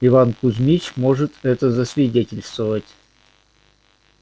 иван кузмич может это засвидетельствовать